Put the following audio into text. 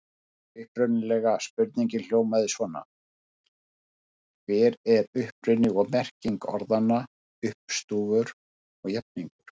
Upprunalega spurningin hljóðaði svona: Hver er uppruni og merking orðanna uppstúfur og jafningur?